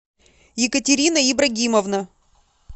екатерина ибрагимовна